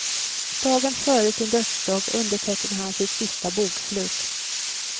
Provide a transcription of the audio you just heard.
Dagen före sin dödsdag undertecknar han sitt sista bokslut.